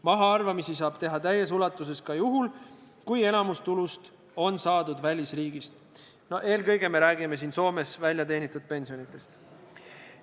Mahaarvamisi saab teha täies ulatuses ka juhul, kui enamik tulust on saadud välisriigist – eelkõige räägime siin Soomes väljateenitud pensionidest.